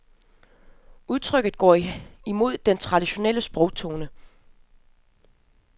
Udtrykket går imod den traditionelle sprogtone.